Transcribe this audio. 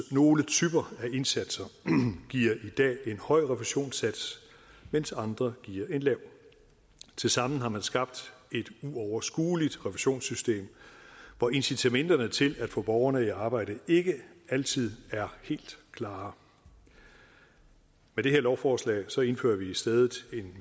nogle typer af indsatser giver i dag en høj refusionssats mens andre giver en lav tilsammen har man skabt et uoverskueligt refusionssystem hvor incitamenterne til at få borgerne i arbejde ikke altid er helt klare med det her lovforslag indfører vi i stedet et